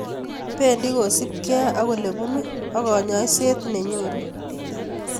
Bendi kosubkei ak olebunu ak kanyoiset nenyoru